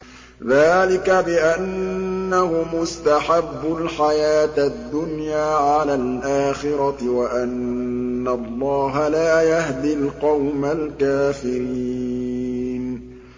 ذَٰلِكَ بِأَنَّهُمُ اسْتَحَبُّوا الْحَيَاةَ الدُّنْيَا عَلَى الْآخِرَةِ وَأَنَّ اللَّهَ لَا يَهْدِي الْقَوْمَ الْكَافِرِينَ